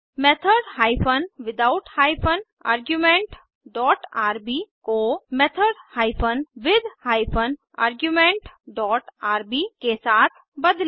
method hyphen without hyphen arguments dot RB को method hyphen with hyphen arguments dot RB के साथ बदलें